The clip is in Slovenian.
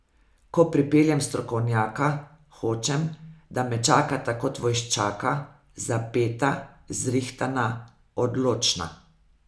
Ko pripeljem strokovnjaka, hočem, da me čakata kot vojščaka, zapeta, zrihtana, odločna.